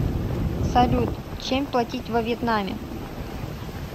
салют чем платить во вьетнаме